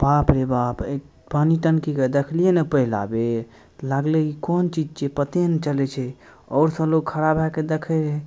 बाप रे बाप ए पानी टंकी के देखलिए ने पहला बैर लाएग ले इ कउन चीज छीये पते ने चले छै और सब लोग खड़ा भेए के देखे रहे।